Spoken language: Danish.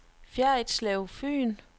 Ferritslev Fyn